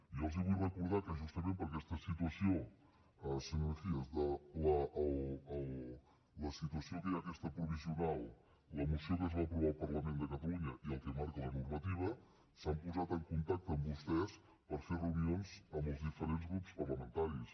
jo els vull recordar que justament senyor mejía per la situació que hi ha aquesta provisional la moció que es va aprovar al parlament de catalunya i el que marca la normativa s’han posat en contacte amb vostès per fer reunions amb els diferents grups parlamentaris